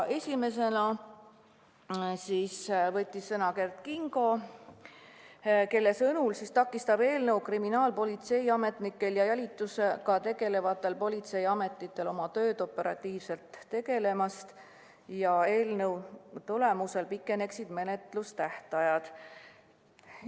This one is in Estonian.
Esimesena võttis sõna Kert Kingo, kelle sõnul takistaks eelnõus toodu kriminaalpolitseiametnikel ja jälitusega tegelevatel politseiametnikel oma tööd operatiivselt tegemast, ka pikeneksid menetlustähtajad.